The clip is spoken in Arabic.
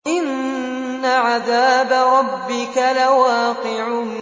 إِنَّ عَذَابَ رَبِّكَ لَوَاقِعٌ